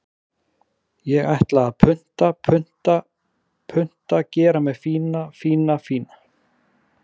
Ég ætla að punta, punta, punta Gera mig fína, fína, fína.